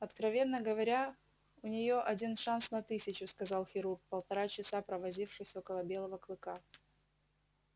откровенно говоря у неё один шанс на тысячу сказал хирург полтора часа провозившись около белого клыка